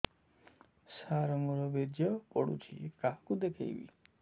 ସାର ମୋର ବୀର୍ଯ୍ୟ ପଢ଼ୁଛି କାହାକୁ ଦେଖେଇବି